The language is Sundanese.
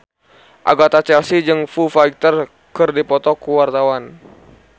Agatha Chelsea jeung Foo Fighter keur dipoto ku wartawan